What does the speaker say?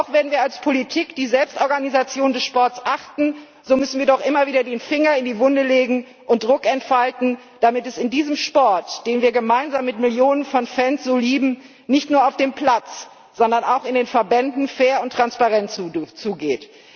Auch wenn wir als Politik die Selbstorganisation des Sports achten, so müssen wir doch immer wieder den Finger in die Wunde legen und Druck entfalten, damit es in diesem Sport, den wir gemeinsam mit Millionen von Fans so lieben, nicht nur auf dem Platz, sondern auch in den Verbänden, fair und transparent zugeht.